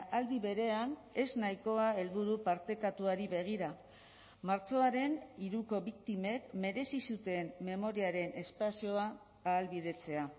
aldi berean ez nahikoa helburu partekatuari begira martxoaren hiruko biktimek merezi zuten memoriaren espazioa ahalbidetzea